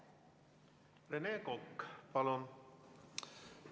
Rene Kokk, palun!